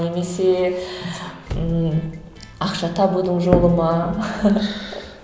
немесе ммм ақша табудың жолы ма